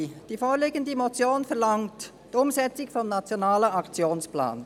Die vorliegende Motion verlangt die Umsetzung des Nationalen Aktionsplans.